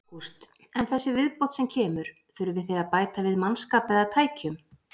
Ágúst: En þessi viðbót sem kemur, þurfið þið að bæta við mannskap eða tækjum?